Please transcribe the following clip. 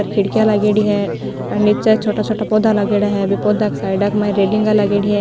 ऊपर खिड़किया लागेड़ी हैऔर निचे छोटा छोटा पौधा लागेड़ी है पौधा के साइडा मा रेलिंग लागेड़ी है।